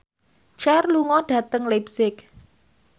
Cher lunga dhateng leipzig